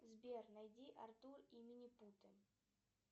сбер найди артур и минипуты